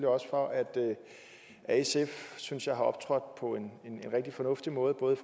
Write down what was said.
også for at sf synes jeg har optrådt på en rigtig fornuftig måde både